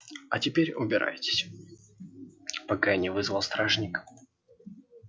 а теперь убирайтесь пока я не вызвал стражника